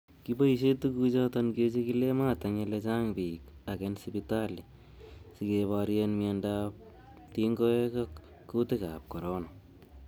Kiboishen tuguchoton kechigilet mat en ele chang bik ak en sipitali sikeborien miondab tiongoek ab kuutikab corona.